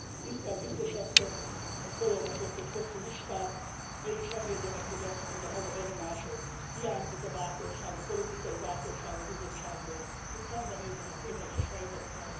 Tisztel Biztos Asszony, Ön fölolvasott egy hosszú listát, mégis engedje meg, hogy azt mondjam, az a benyomásom, hiányzik a bátorság, a politikai bátorság a Bizottságból, hogy szembenézzen a tényleges helyzettel.